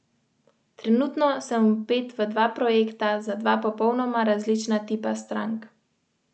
Ante Šimundža z Muro ostaja v igri za pokalno lovoriko.